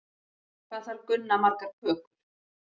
Hvað þarf Gunna margar kökur?